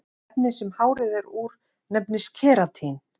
Efnið sem hárið er úr nefnist keratín.